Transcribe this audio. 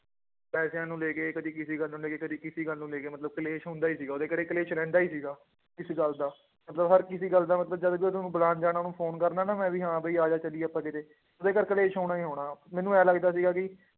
ਪੈਸਿਆਂ ਨੂੰ ਲੈ ਕੇ ਕਦੇ ਕਿਸੇ ਗੱਲ ਨੂੰ ਲੈ ਕੇ, ਕਦੇ ਕਿਸੇ ਗੱਲ ਨੂੰ ਲੈ ਕੇ ਮਤਲਬ ਕਲੇਸ਼ ਹੁੰਦਾ ਹੀ ਸੀਗਾ ਉਹਦੇ ਘਰੇ ਕਲੇਸ਼ ਰਹਿੰਦਾ ਹੀ ਸੀਗਾ, ਇਸ ਗੱਲ ਦਾ ਮਤਲਬ ਹਰ ਕਿਸੇ ਗੱਲ ਦਾ ਮਤਲਬ ਜਦ ਵੀ ਉਹਨੂੰ ਬੁਲਾਉਣ ਜਾਣਾ ਉਹਨੂੰ phone ਕਰਨਾ ਨਾ ਮੈਂ ਵੀ ਹਾਂ ਵੀ ਆ ਜਾ ਚੱਲੀਏ ਆਪਾਂ ਕਿਤੇ ਉਹਦੇ ਘਰ ਕਲੇਸ਼ ਹੋਣਾ ਹੀ ਹੋਣਾ, ਮੈਨੂੰ ਇਉਂ ਲੱਗਦਾ ਸੀਗਾ ਕਿ